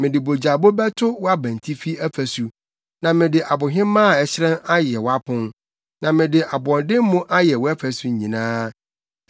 Mede bogyabo bɛto wʼabantifi afasu, na mede abohemaa a ɛhyerɛn ayɛ wʼapon, na mede aboɔdemmo ayɛ wʼafasu nyinaa.